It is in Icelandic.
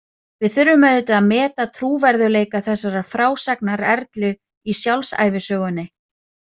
Við þurfum auðvitað að meta trúverðugleika þessarar frásagnar Erlu í sjálfsævisögunni.